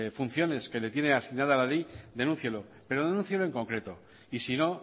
funciones que le tiene asignadas la ley denúncielo pero denúncielo en concreto y si no